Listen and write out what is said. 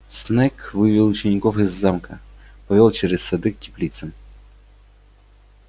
снегг вывел учеников из замка повёл через сады к теплицам